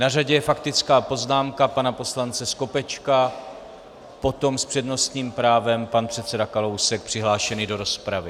Na řadě je faktická poznámka pana poslance Skopečka, potom s přednostním právem pan předseda Kalousek přihlášený do rozpravy.